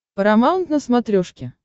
парамаунт на смотрешке